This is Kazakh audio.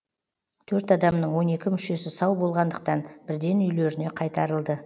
төрт адамның он екі мүшесі сау болғандықтан бірден үйлеріне қайтарылды